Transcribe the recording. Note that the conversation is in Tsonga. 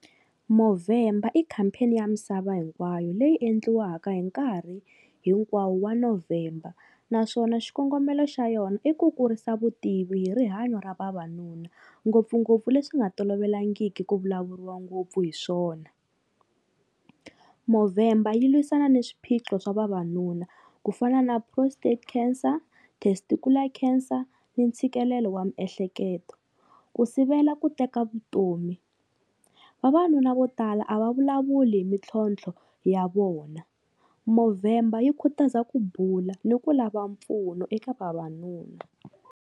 Movember i campaign ya misava hinkwayo leyi endliwaka hi nkarhi hinkwawo wa November, naswona xikongomelo xa yona i ku kurisa vutivi hi rihanyo ra vavanuna ngopfungopfu leswi nga tolovelangiki ku vulavuriwa ngopfu hi swona. Movember yi lwisana ni swiphiqo swa vavanuna ku fana na prostate cancer, testicular cancer, ni ntshikelelo wa miehleketo, ku sivela ku teka vutomi. Vavanuna vo tala a va vulavuli hi mintlhontlho ya vona, Movember yi khutaza ku bula ni ku lava mpfuno eka vavanuna.